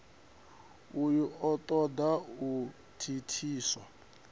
uyu o toda u thithiswa